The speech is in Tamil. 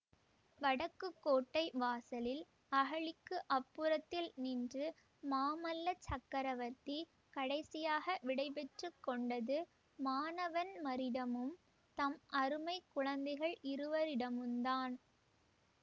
வடக்குக் கோட்டை வாசலில் அகழிக்கு அப்புறத்தில் நின்று மாமல்ல சக்கரவர்த்தி கடைசியாக விடைபெற்று கொண்டது மானவன்மரிடமும் தம் அருமை குழந்தைகள் இருவரிடமுந்தான்